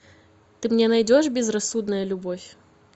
ты мне найдешь безрассудная любовь